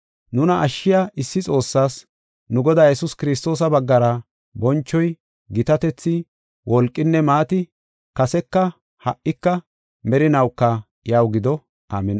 nuna ashshiya issi Xoossaas, nu Godaa Yesuus Kiristoosa baggara bonchoy, gitatethi, wolqinne maati, kaseka, ha77ika, merinawuka iyaw gido. Amin7i.